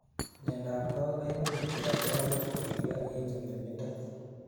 miandap kowek koimuch koyai kowek koilyo en nyumnyumindo